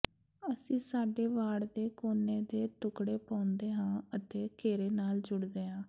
ਅਸੀਂ ਸਾਡੇ ਵਾੜ ਦੇ ਕੋਨੇ ਦੇ ਟੁਕੜੇ ਪਾਉਂਦੇ ਹਾਂ ਅਤੇ ਘੇਰੇ ਨਾਲ ਜੁੜਦੇ ਹਾਂ